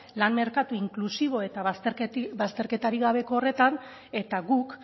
lan merkatu inklusibo eta bazterketarik gabeko horretan eta guk